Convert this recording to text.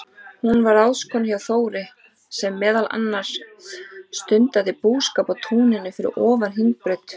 Hún var ráðskona hjá Þóri, sem meðal annars stundaði búskap á túninu fyrir ofan Hringbraut.